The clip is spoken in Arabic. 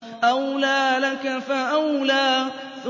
أَوْلَىٰ لَكَ فَأَوْلَىٰ